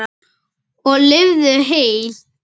Og lifðu heil!